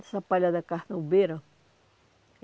Essa palha da carnaubeira